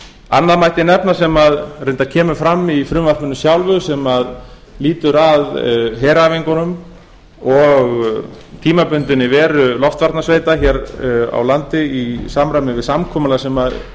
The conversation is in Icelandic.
annað mætti nefna sem reyndar kemur fram í frumvarpinu sjálfu sem lýtur að heræfingunum og tímabundinni veru loftvarnasveita hér á landi í samræmi við samkomulag sem